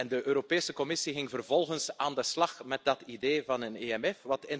De Europese Commissie ging vervolgens aan de slag met dat idee van een EMF.